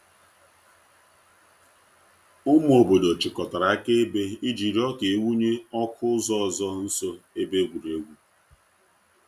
Ụmụ obodo chịkọtara akaebe iji rịọ ka e wụnye ọkụ ụzọ ọzọ nso ebe egwuregwu.